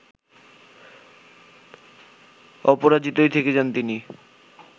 অপরাজিতই থেকে যান তিনি